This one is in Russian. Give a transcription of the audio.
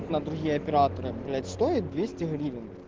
на другие операторы блять стоит двести гривен